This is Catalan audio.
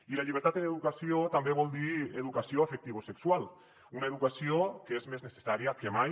i la llibertat en educació també vol dir educació afectivosexual una educació que és més necessària que mai